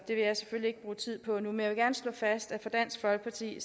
vil jeg selvfølgelig ikke bruge tid på nu men jeg vil slå fast at for dansk folkeparti